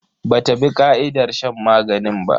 Bata bi ka'idar shan maganin ba.